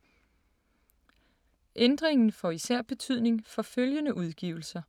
Ændringen får især betydning for følgende udgivelser: